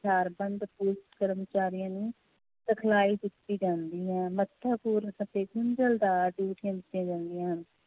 ਹਥਿਆਰਬੰਦ ਪੁਲਿਸ ਕਰਮਚਾਰੀਆਂ ਨੂੰ ਸਿਖਲਾਈ ਦਿੱਤੀ ਜਾਂਦੀ ਹੈ ਮਹੱਤਵਪੂਰਨ ਅਤੇ ਦਿੱਤੀਆਂ ਜਾਂਦੀਆਂ ਹਨ l